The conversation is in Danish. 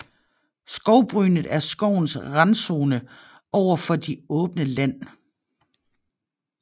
Skovbrynet er skovens randzone over for det åbne land